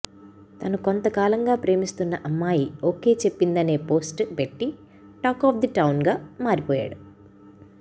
తను కొంతకాలంగా ప్రేమిస్తున్న అమ్మాయి ఓకే చెప్పిందనే పోస్ట్ పెట్టి టాక్ ఆఫ్ ది టౌన్గా మారిపోయాడు